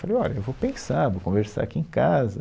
Eu falei, olha, eu vou pensar, vou conversar aqui em casa.